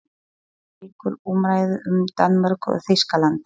HÉR LÝKUR UMRÆÐU UM DANMÖRKU OG ÞÝSKALAND